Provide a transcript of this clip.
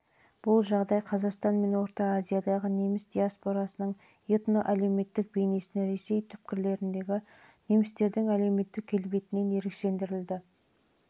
бұл жағдай қазақстан мен орта азиядағы неміс диаспорасының этноәлеуметтік бейнесін ресей түкпірлеріндегі немістердің әлеуметтік келбетінен ерекшелендірді